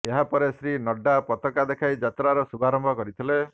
ଏହା ପରେ ଶ୍ରୀ ନଡ୍ଡା ପତକା ଦେଖାଇ ଯାତ୍ରାର ଶୁଭାରମ୍ଭ କରିଥିଲେ